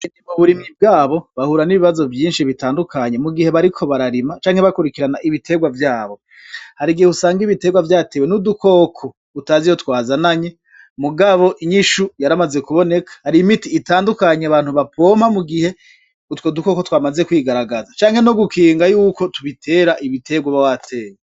Muburimyi bwabo bahura nibibazo vyinshi bitandukanye mu gihe bariko bararima canke bakwirikirana ibitegwa vyabo harigihe usanga ibitegwa vyatewe nudukoko utazi iyo twazananye mugabo inyishu yaramaze kuboneka hari imiti itandukanye abantu bapompa mu gihe utwo dukoko twamaze kwigaragaza canke no gukinga yuko tubitera ibitegwa uba warateye.